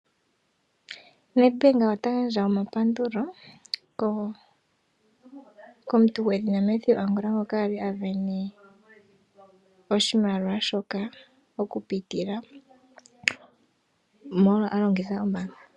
Nedbank ota gandja omapandulo komuntu gwedhina Mateus Angula ngono ali a simdana oshimaliwa shoka molwa a longitha ombaanga oyo tu ndjika.